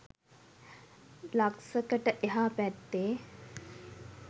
ලක්සකට එහා පැත්තේ